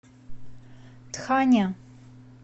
тхане